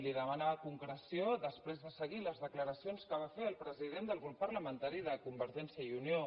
li demanava concreció després de seguir les declaracions que va fer el president del grup parlamentari de convergència i unió